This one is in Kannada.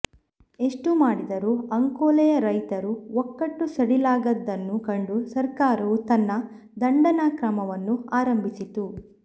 ಎಷ್ಟು ಮಾಡಿದರೂ ಅಂಕೋಲೆಯ ರೈತರು ಒಕ್ಕಟ್ಟು ಸಡಿಲಾಗದ್ದನ್ನು ಕಂಡು ಸರ್ಕಾರವು ತನ್ನ ದಂಡನಾಕ್ರಮವನ್ನು ಆರಂಭಿಸಿತು